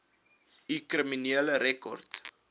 u kriminele rekord